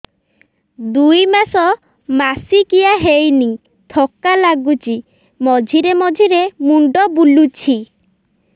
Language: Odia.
ଦୁଇ ମାସ ମାସିକିଆ ହେଇନି ଥକା ଲାଗୁଚି ମଝିରେ ମଝିରେ ମୁଣ୍ଡ ବୁଲୁଛି